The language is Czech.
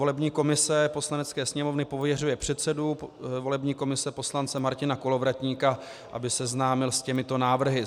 "Volební komise Poslanecké sněmovny pověřuje předsedu volební komise poslance Martina Kolovratníka, aby seznámil s těmito návrhy: